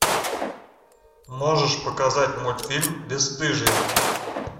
можешь показать мультфильм бесстыжие